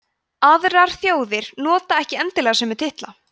aðrar þjóðir nota ekki endilega þessa sömu titla